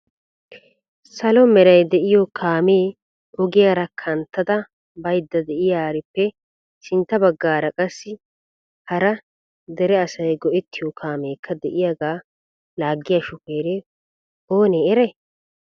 Salo meray de'iyo kaame ogiyaara kanttada baydda de'iyaarippe sintta baggaara qassi hara dere asay go"ettiyo kaamekka de'iyaag laagiya shufeere oonee eray?